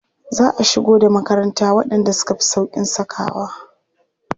Za a shigo da makaranta waɗanda suka fi sauƙin sakawa.